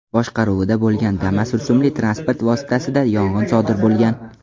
boshqaruvida bo‘lgan Damas rusumli transport vositasida yong‘in sodir bo‘lgan.